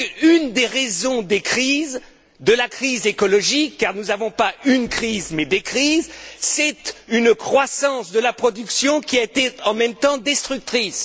Parce qu'une des raisons des crises, de la crise écologique car nous n'avons pas une crise, mais des crises c'est une croissance de la production qui a été en même temps destructrice.